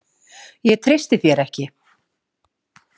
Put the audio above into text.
Ég treysti þér ekki.